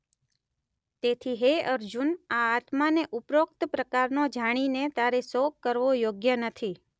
તેથી હે અર્જુન આ આત્માને ઉપરોક્ત પ્રકારનો જાણીને તારે શોક કરવો યોગ્ય નથી.